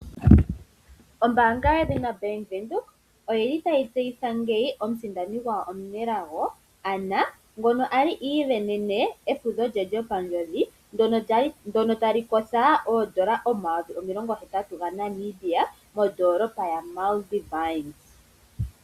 Ombaanga yedhina Bank Windhoek oyili tayi tseyitha ngeyi omusindani gwawo omunelago Anna ngoka a li iisindanene efudho lye lyopandjodhi ndyoka tali kotha N$80000 mondolopa ya Multivine.